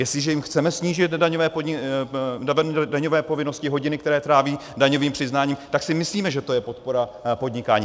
Jestliže jim chceme snížit daňové povinnosti, hodiny, které tráví daňovým přiznáním, tak si myslíme, že to je podpora podnikání.